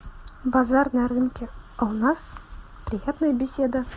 базар на рынке а у нас приятная беседа